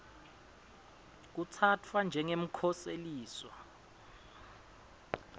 kutsatfwa njengemkhoseliswa